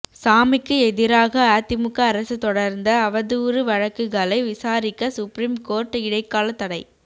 சாமிக்கு எதிராக அதிமுக அரசு தொடர்ந்த அவதூறு வழக்குகளை விசாரிக்க சுப்ரீம் கோர்ட் இடைக்காலத் தடை